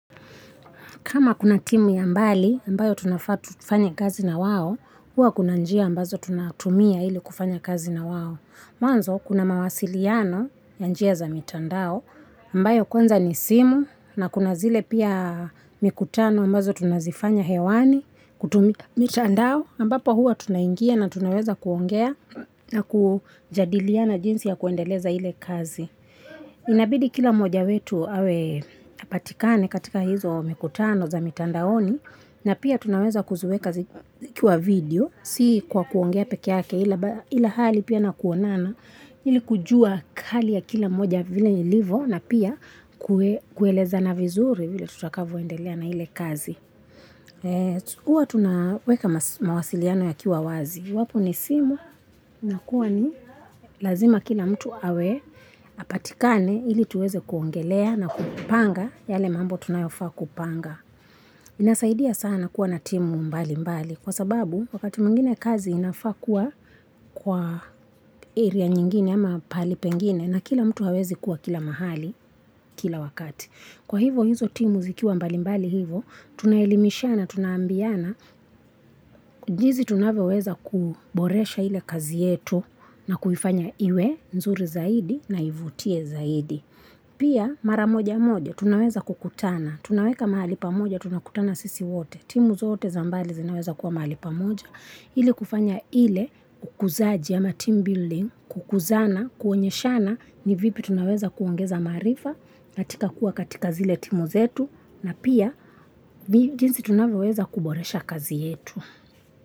Kama kuna timu ya mbali, ambayo tunafaa tufanye kazi na wao, huwa kuna njia ambazo tunatumia ili kufanya kazi na wao. Mwanzo, kuna mawasiliano ya njia za mitandao, ambayo kwanza ni simu na kuna zile pia mikutano ambazo tunazifanya hewani, kutumia mitandao, ambapo huwa tunaingia na tunaweza kuongea na kujadiliana jinsi ya kuendeleza ile kazi. Inabidi kila mmoja wetu awe hapatikani katika hizo mikutano za mitandaoni na pia tunaweza kuziweka zikiwa video si kwa kuongea peke yake ila hali pia na kuonana ili kujua kali ya kila mmoja vile ilivo na pia kuelezana vizuri vile tutakavyoendelea na ile kazi. Huwa tunaweka mawasiliano yakiwa wazi. Iwapo ni simu inakuwa ni lazima kila mtu awe apatikane ili tuweze kuongelea na kupanga yale mambo tunayofaa kupanga. Inasaidia sana kuwa na timu mbalimbali kwa sababu wakati mwingine kazi inafaa kuwa kwa area nyingine ama pahali pengine na kila mtu hawezi kuwa kila mahali kila wakati. Kwa hivo hizo timu zikiwa mbalimbali hivo, tunaelimishana, tunaambiana, jinsi tunavyoweza kuboresha ile kazi yetu na kufanya iwe nzuri zaidi na ivutie zaidi. Pia mara moja moja, tunaweza kukutana, tunaweka mahali pamoja, tunakutana sisi wote, timu zote za mbali zinaweza kuwa mahali pamoja. Ili kufanya ile kukuzaji ama team building, kukuzana, kuonyeshana ni vipi tunaweza kuongeza maarifa katika kuwa katika zile timu zetu na pia jinsi tunavyoweza kuboresha kazi yetu.